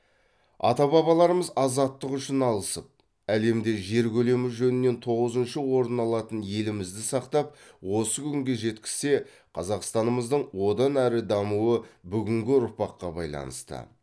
ата бабаларымыз азаттық үшін алысып әлемде жер көлемі жөнінен тоғызыншы орын алатын елімізді сақтап осы күнге жеткізсе қазақстанымыздың одан әрі дамуы бүгінгі ұрпаққа байланысты